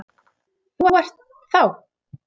Þú ert þá.?